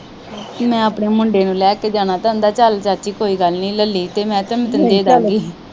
ਮੈ ਆਪਣੇ ਮੁੰਡੇ ਨੂੰ ਲੈ ਕੇ ਜਾਣਾ ਤੇ ਆਂਦਾ ਚਲ ਚਾਚੀ ਕੋਈ ਗੱਲ ਨਹੀਂ ਲੈ ਲੀ ਤੇ ਮੈ ਕਿਹਾ ਤੈਨੂੰ ਮੈ ਦੇਦਾਗੀ।